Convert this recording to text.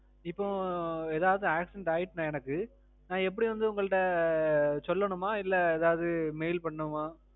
இப்போ ஏதாச்சும் accident ஆயிட்டுனா எனக்கு, நான் எப்பிடி வந்து உங்கள்ட சொல்லனுமா இல்ல ஏதாச்சும் mail பண்ணனுமா?